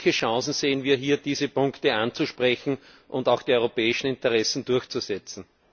Welche Chancen sehen wir hier, diese Punkte anzusprechen und auch die europäischen Interessen durchzusetzen?